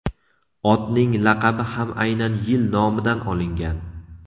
Otning laqabi ham aynan yil nomidan olingan.